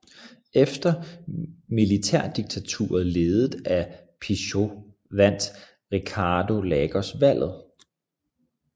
Efter militærdiktaturet ledet af Pinochet vandt Ricardo Lagos valget